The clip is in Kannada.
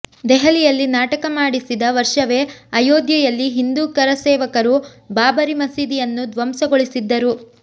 ದೆಹಲಿಯಲ್ಲಿ ನಾಟಕ ಮಾಡಿಸಿದ ವರ್ಷವೇ ಅಯೋಧ್ಯೆಯಲ್ಲಿ ಹಿಂದೂ ಕರಸೇವಕರು ಬಾಬರಿ ಮಸೀದಿಯನ್ನು ದ್ವಂಸಗೊಳಿಸಿದ್ದರು